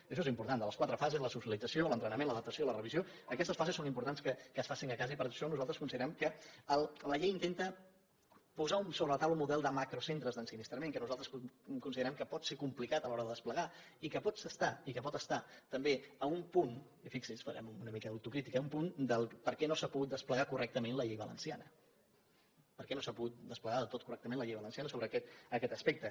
això és important les quatre fases la socialització l’entrenament l’adaptació i la revisió aquestes fases és important que es facin a casa i per això nosaltres considerem que la llei intenta posar sobre la taula un model de macrocentres d’ensinistrament que nosaltres considerem que pot ser complicat a l’hora de desplegar i que pot estar també a un punt i fixi’s farem una mica d’autocrítica de per què no s’ha pogut desplegar correctament la llei valenciana per què no s’ha pogut desplegar del tot correctament la llei valenciana sobre aquest aspecte